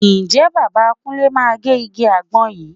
Ǹjẹ́ bàbá Kúnlé máa gé igi àgbọn yìí?